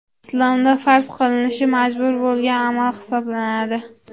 Islomda farz qilinishi majbur bo‘lgan amal hisoblanadi.